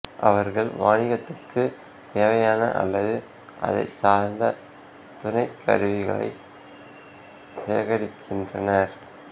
அவர்கள் வாணிகத்துக்கு தேவையான அல்லது அதைச் சார்ந்த துணைக்கருவிகளை சேகரிக்கின்றனர்